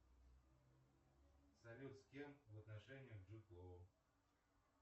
салют с кем в отношениях джуд лоу